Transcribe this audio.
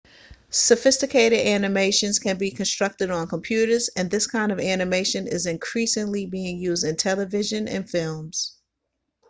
sophisticated animations can be constructed on computers and this kind of animation is increasingly being used in television and films